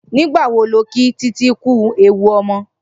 Nigbà wó ló kí Titi kú éwú ọmọ?